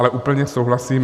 Ale úplně souhlasím.